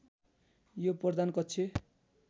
यो प्रधान कक्ष